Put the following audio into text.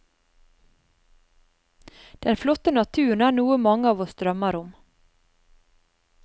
Den flotte naturen er noe mange av oss drømmer om.